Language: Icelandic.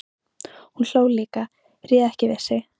Hún hló líka, réð ekki við sig.